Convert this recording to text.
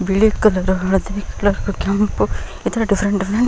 ಬಿಳಿ ಕಾಲರ್ ಹಳದಿ ಕಲರ್ ಕೆಂಪು ಈ ತರ ಡಿಫೆರೆಂಟ್ ಡಿಫೆರೆಂಟ್ --